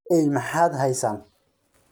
cunta eey maxad haysaan